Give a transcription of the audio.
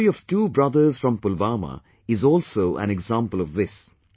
The story of two brothers from Pulwama is also an example of this